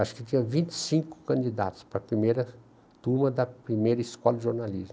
Acho que tinha vinte e cinco candidatos para a primeira turma da primeira escola de jornalismo.